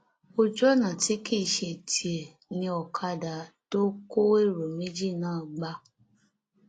ojú ọnà tí kì í ṣe tiẹ ni ọkadà tó kó èrò méjì náà gbà